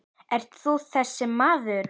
Ert þú þessi maður?